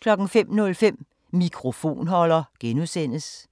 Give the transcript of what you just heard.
05:05: Mikrofonholder (G) 06:00: